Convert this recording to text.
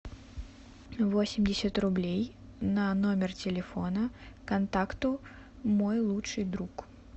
восемьдесят рублей на номер телефона контакту мой лучший друг